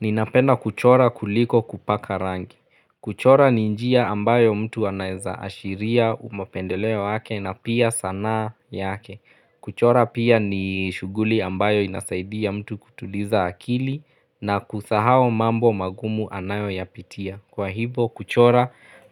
Ninapenda kuchora kuliko kupaka rangi. Kuchora ni njia ambayo mtu anaezaashiria mapendeleo wake na pia sanaa yake. Kuchora pia ni shuguli ambayo inasaidia mtu kutuliza akili na kusahao mambo magumu anayo yapitia. Kwa hivyoo kuchora